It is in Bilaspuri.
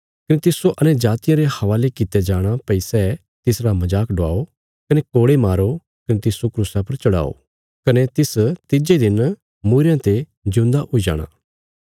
कने मिन्जो अन्यजातियां रे हवाले कित्या जाणा भई सै मेरा मजाक डवाओ कने कोड़े मारो कने मिन्जो क्रूसा पर चढ़ाओ कने मांह तिज्जे दिन मूईरयां ते जिऊंदा हुई जाणा